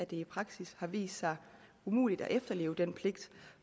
i praksis har vist sig umuligt at efterleve den pligt